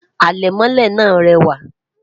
alè mọlé nà rewa